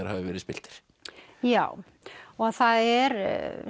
hafi verið spilltir já og það er